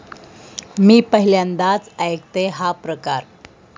मी पहिल्यांदाच ऐकतेय हा प्रकार.